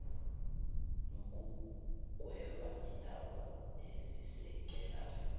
nokugweba iindaba ezisekela